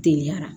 Teliyara